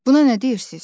Buna nə deyirsiz?